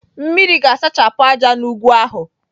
Mmiri ga-asachapụ ájá n'ugwu ahụ.